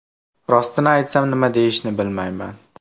Rostini aytsam, nima deyishni bilmayman.